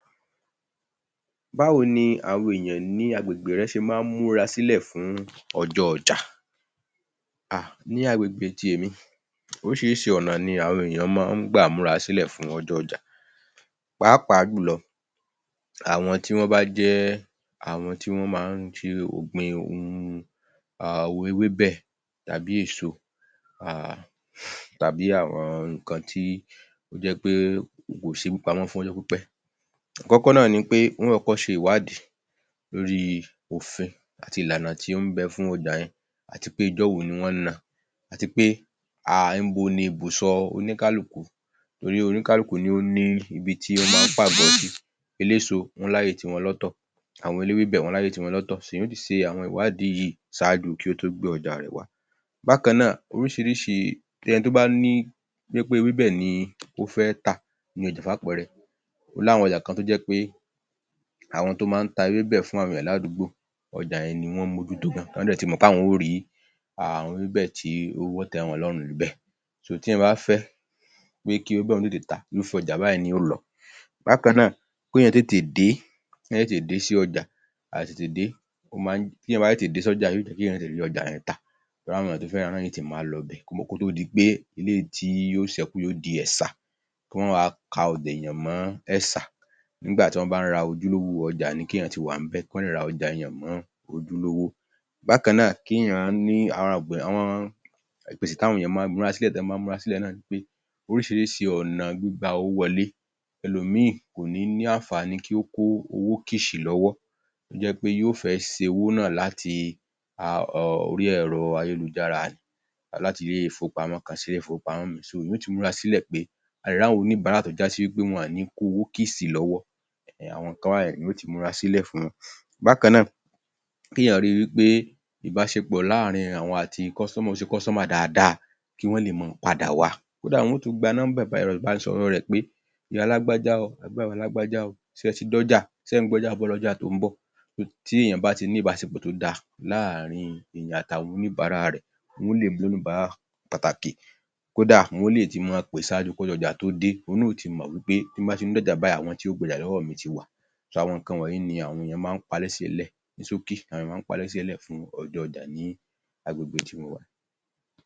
Báwo ni àwọn ènìyàn ní agbègbè rẹ ṣe máa ń múra sílẹ̀ fún ọjọ́ ọjà? Hà, ní agbègbè ti èmi orísirísi ọ̀nà ni àwọn èyàn máa ń gbà múra sílẹ̀ fún ọjọ́ ọjà, pàápàá jùlọ àwọn tí wọ́n bá jẹ́ àwọn tí wọ́n máa ń ṣe ọ̀gbìn ohun um ewébẹ̀ tàbí èso um, tàbí àwọn nǹkan tó jẹ́ pé kò sẹ é kó pamọ́ fún ọjọ́ pípẹ́. Àkọ́kọ́ náà ni pé wọn ó kọ́kọ́ ṣe ìwádìí lórí òfin àti ìlànà tí ó ń bẹ fún ọjá yẹn àti pé ọjọ́ wo ni wọ́n ń ná àti pé um ibo ní ibùsọ̀ oníkálùkù torí oníkálùkù ni ó ní ibi tí wọ́n máa ń pàgọ́ sí, eléso wọ́n láyè ti wọn lọ́tọ̀, àwọn eléwébẹ̀ wọ́n láyè ti wọn lọ́tọ̀, èyàn ó ti ṣe àwọn ìwádìí yìí ṣáájú kí ó tó gbé ọjà rẹ̀ wá. Bákan náà oríṣiríṣi um, ẹni tó bá ni, wípé ewébẹ̀ ni ó fẹ́ tà ni ọjà fún àpẹẹrẹ, ó ní àwọn èyàn kan tó jẹ́ pe àwọn tó máa ń ta ewébẹ̀ fún àwọn èyàn ládùúgbò, ọjà yẹn ni wọ́n ń mójútó, wọ́n dẹ ti mọ̀ pé àwọn ó rí um àwọn eẃebẹ̀ tí yóò tẹ́ wọn lọ́rùn ńbẹ̀, tí èyàn bá fẹ́ pé kí oun tètè, irùfẹ́ ọjà báyìí ni yóò lọ. Bákan náà kí èyàn tètè, kí èyàn tètè dé sí ọjà, àìtètè dé ó máa ń, tí èyàn bá tètè dé sí ọjà yóò jẹ́ kí èyàn tètè rí ọjà yẹn tà, torí àwọn tó fẹ́ rà á náa yóò ti máa lọ ibẹ̀ kó tó di pé eléyìí tí yóò ṣékù yóò di ẹ̀ṣà kí wọn ó wá ọjà èyàn mọ́ ẹ̀ṣà, nígbà tí wọ́n bá ń ra ojúlówó ọjà ni kí èyàn ti wà níbẹ̀ kí wọ́n lè ra ọjà èyàn mọ́ ojúlówó. Bákan náà, kí èyàn ní um ìmúrasílẹ̀ tí wọ́n máa ń múrasílẹ̀ náà ni pé oríṣiríṣi ọ̀nà gbígba owó wolé, elòmíí ò ní ní àǹfàní kí ó kó owó kìṣì lọ́wọ́, tó ṣe pé yóò fẹ́ ṣe owó náà láti [um]orí ẹ̀rọ ayélujára ni láti ilé ìfowópamọ́ kan sí ilé ifowópamọ́, èyàn yóò ti múra sílẹ̀ pé a lè rí àwọn oníbárà tó já sí pé wọn ò ní í kó owó kìṣì lọ́wọ́ um àwọn nńkan báyẹn èyàn yóò ti múra sílẹ̀ fún wọn. Bákan náà kí èyàn rí wípé ìbáṣepọ̀ láàrin àwọn àti àwọn ṣe dáadáa kí wón lé máa padà wá, kódà wọn yóò tún kó, gba nọ́ḿbà ẹ̀rọ ìbánisọ̀rọ̀ rẹ̀ pé ìyá lágbájá o àbí bàbá lágbájá o, ṣé e ti dọ́jà, ṣé ẹ̀ ń gbọ́jà bọ̀ lọ́jà tó ń bọ̀, tí èyàn bá ti ní ìbáṣepọ̀ tó dáa láàrin èyàn àti àwọn oníbárà rẹ̀ kódà wọ́n yóò le pè ṣáájú kí ọjọ́ ọjà tó dé, ohun náà yóò ti mọ̀ wípé tí n bá ti ń dọ́jà báyìí àwọn tí yóò gbọjà lọ́wọ́ mi ti wà. àwọn nǹkan wọ̀nyí ní àwọn èyàn máa ń ní ṣókí àwọn èyàn máa ń múrá sílè fún ọjọ́ ọjà ní agbègbè tí mo wà.